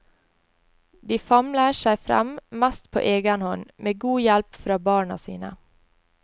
De famler seg frem, mest på egen hånd, med god hjelp fra barna sine.